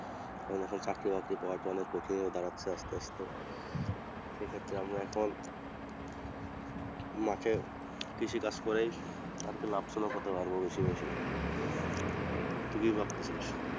কারণ এখন চাকরি বাকরি পাওয়াটা অনেক কঠিন হয়ে দাঁড়াচ্ছে আসতে আসতে, সেক্ষেত্রে আমরা এখন মাঠে কৃষিকাজ করেই আরকি লাভজনক হতে পারবো বেশি বেশি তুই কি ভাবতাছিস?